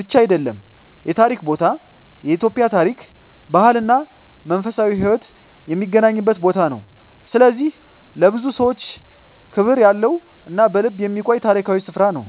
ብቻ አይደለም የታሪክ ቦታ፤ የኢትዮጵያ ታሪክ፣ ባህል እና መንፈሳዊ ሕይወት የሚገናኝበት ቦታ ነው። ስለዚህ ለብዙ ሰዎች ክብር ያለው እና በልብ የሚቆይ ታሪካዊ ስፍራ ነው።